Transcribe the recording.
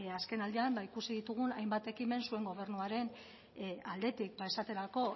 azken aldian ikusi ditugun hainbat ekimen zuen gobernuaren aldetik esaterako